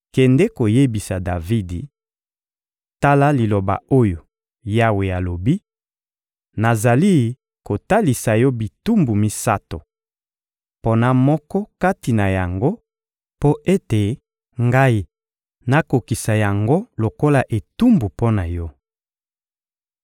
— Kende koyebisa Davidi: «Tala liloba oyo Yawe alobi: ‹Nazali kotalisa yo bitumbu misato; pona moko kati na yango mpo ete Ngai nakokisa yango lokola etumbu mpo na yo.›»